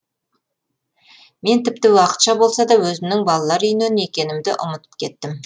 мен тіпті уақытша болса да өзімнің балалар үйінен екенімді ұмытып кеттім